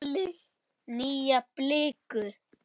Nýja bliku.